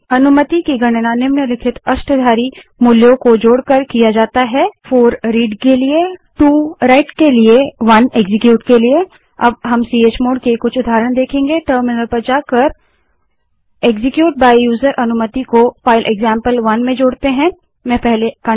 अनुमतियों की गणना निम्नलिखित अष्टाधारी मूल्यों को जोड़कर की जाती है 4 रीड पढ़ना 2 Writeलिखना 1 Executeनिष्पादित करना अब हम चमोड़ के कुछ उदाहरण देखेंगे टर्मिनल पर जाएँ और execute by यूजर अनुमति को फाइल एक्जाम्पल1 में जोड़ने के लिए कमांड एंटर करें